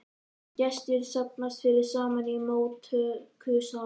Gestir safnast fyrst saman í móttökusal.